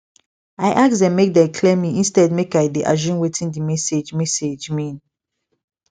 i ask make dem clear me instead make i dey assume wetin the message message mean